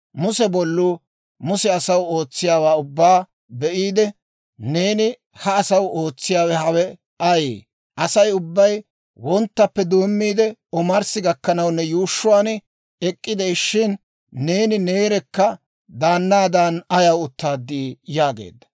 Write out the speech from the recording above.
Muse bolluu Muse asaw ootsiyaawaa ubbaa be'iide, «Neeni ha asaw ootsiyaawe hawe ayee? Asay ubbay wonttappe doommiide omarssi gakkanaw ne yuushshuwaan ek'k'ide'ishshin, neeni neerekka daannaadan ayaw uttaad?» yaageedda.